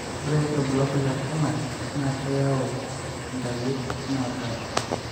ore ilbulabul le HANAC naa keyau intaliip naapasha